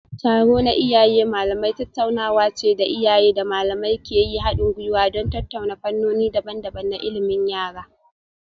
Taro na Iyaye Malamai tattaunawa ce da iyaye da malamai ke yin hadin gwiwa don tattauna fannoni daban-daban na ilimin yara.